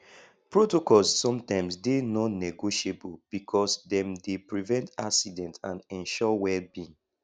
protocols sometimes dey non negotiable because dem dey prevent accident and ensure welbeing